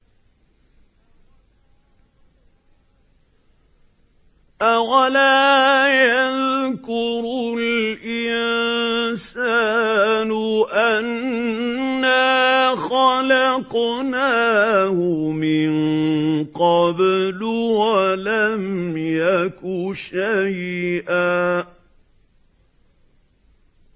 أَوَلَا يَذْكُرُ الْإِنسَانُ أَنَّا خَلَقْنَاهُ مِن قَبْلُ وَلَمْ يَكُ شَيْئًا